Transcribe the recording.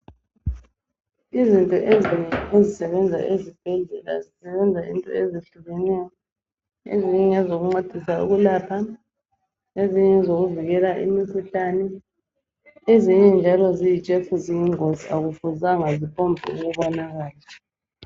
Izinto ezinengi ezisebenza esibhedlela zisebenza into ezehlukeneyo. Ezinye ngezokuncedisa ukuapha ezinye ngezokuvikela imikhuhlane ezinye njalo ziyitshefu ziyingozi akufuzanga ziphombunakala.